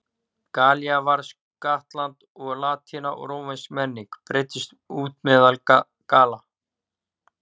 Gallía varð skattland og latína og rómversk menning breiddist út meðal Galla.